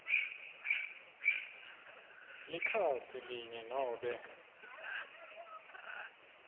likhasi linye nobe